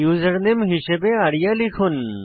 username হিসেবে আরিয়া লিখুন